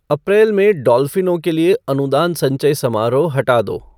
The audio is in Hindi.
अप्रैल में डॉल्फ़िनों के लिए अनुदान संचय समारोह हटा दो